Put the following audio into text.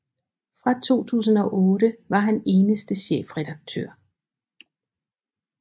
Fra 2008 var han eneste chefredaktør